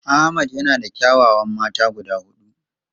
Ahmed has four beautiful wives.